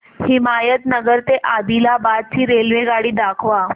हिमायतनगर ते आदिलाबाद ची रेल्वेगाडी दाखवा